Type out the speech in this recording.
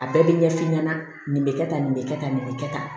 A bɛɛ bɛ ɲɛ f'i ɲɛna nin bɛ kɛ tan nin bɛ kɛ tan nin bɛ kɛ tan